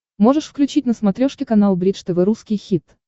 можешь включить на смотрешке канал бридж тв русский хит